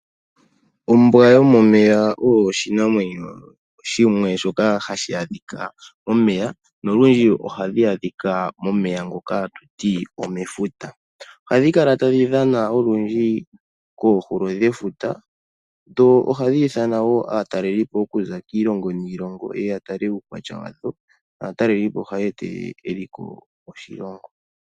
Ombwa yomomeya oyo oshinamwenyo shimwe shoka hashi adhika momeya. Nolundji ohadhi adhika momeya ngoka hatuti omefuta. Ohadhi kala tadhi dhana olundji koohulo dhefuta. Dho ohadhi ithana wo aatalelipo okuza kiilongo niilongo yeye yatale uukwatya wadho. Naatalelipo ohaye etelele eliko moshilongo.